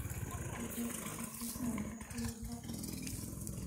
Digaagga waxay soo saaraan ukun nafaqo leh.